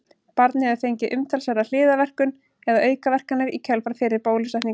barnið hefur fengið umtalsverða hliðarverkun eða aukaverkanir í kjölfar fyrri bólusetninga